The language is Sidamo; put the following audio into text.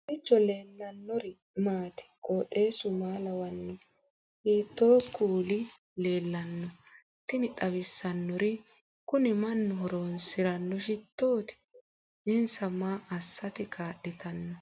kowiicho leellannori maati ? qooxeessu maa lawaanno ? hiitoo kuuli leellanno ? tini xawissannori kuni mannu horoonsiranno shitooti insa maa assate kaa'litanno